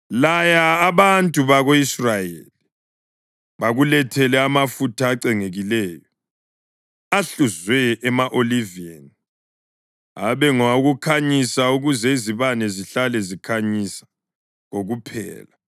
“Laya abantu bako-Israyeli bakulethele amafutha acengekileyo, ahluzwe ema-oliveni, abe ngawokukhanyisa ukuze izibane zihlale zikhanyisa kokuphela.